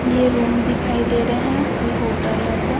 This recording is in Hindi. ये रूम दिखाई दे रहे हैं कोई होटल ऐसा।